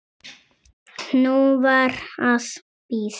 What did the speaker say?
Nú var að bíða.